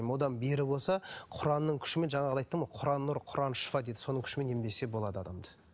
одан бері болса құранның күшімен жаңағыда айттым ғой құран нұр құран шифа дейді соның күшімен емдесе болады адамды